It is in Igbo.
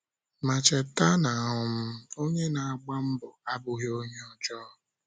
Ma, cheta na um onye na-agba mbo abụghị onye ọjọọ.